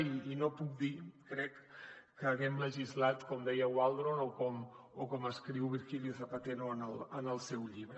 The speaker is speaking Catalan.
i no puc dir crec que haguem legislat com deia waldron o com escriu virgilio zapatero en el seu llibre